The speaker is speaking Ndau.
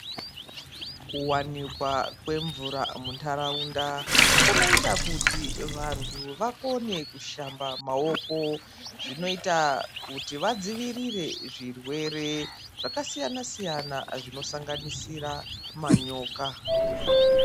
Kuwanikwa kwemvura mundaraunda kunoita kuti vantu vakone kushamba maoko zvinoita kuti vadzivirire zvirwere zvakasiyana siyana zvinosanganisira manyoka.